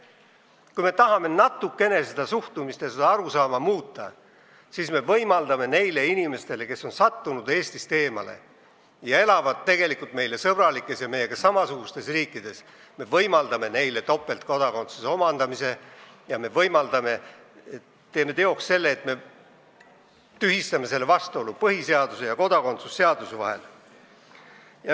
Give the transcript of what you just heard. Kui me tahame seda suhtumist ja arusaama natukene muuta, siis me peame võimaldama topeltkodakondsust neile inimestele, kes on sattunud Eestist eemale ja elavad meile sõbralikes ja samasuguseid väärtusi jagavates riikides, ning tegema teoks selle, et me tühistame selle vastuolu põhiseaduse ja kodakondsuse seaduse vahel.